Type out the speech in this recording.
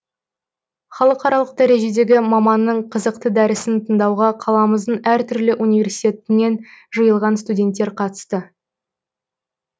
халықаралық дәрежедегі маманның қызықты дәрісін тыңдауға қаламыздың әр түрлі университетінен жиылған студенттер қатысты